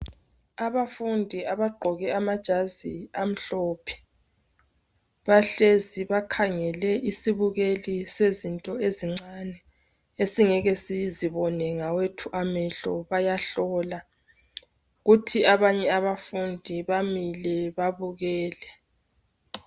Abafundi abagqoke amajazi amhlophe bahlezi bakhangele isibukeli sezinto ezincani esingeke sizibone ngawethu amehlo bayahlola kuthi abanye abafundi bamile babukele.